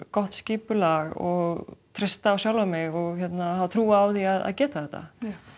gott skipulag og treysta á sjálfa mig hafa trú á því að geta þetta